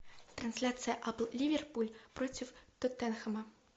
трансляция апл ливерпуль против тоттенхэма